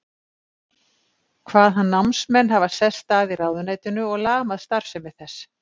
Kvað hann námsmenn hafa sest að í ráðuneytinu og lamað starfsemi þess.